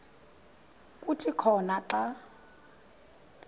kuthi khona xa